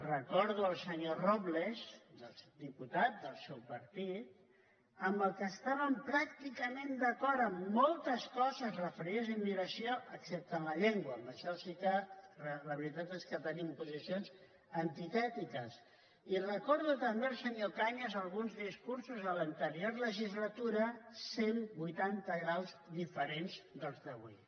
recordo el senyor robles diputat del seu partit amb el qual estàvem pràcticament d’acord en moltes coses referides a immigració excepte en la llengua en això sí que la veritat és que tenim posicions antitètiques i recordo també del senyor cañas alguns discursos a l’anterior legislatura cent vuitanta graus diferents dels d’avui